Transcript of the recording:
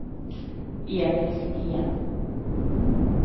Emil Sten